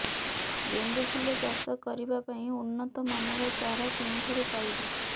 ଗେଣ୍ଡୁ ଫୁଲ ଚାଷ କରିବା ପାଇଁ ଉନ୍ନତ ମାନର ଚାରା କେଉଁଠାରୁ ପାଇବୁ